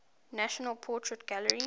national portrait gallery